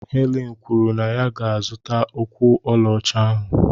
Helen kwuru na ya ga-azụta ụkwụ ọlaọcha ahụ